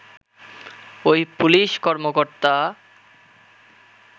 ওই পুলিশ কর্মকর্তা